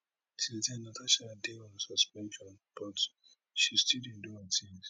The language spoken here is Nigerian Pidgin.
since den natasha dey on suspension but she still dey do her tins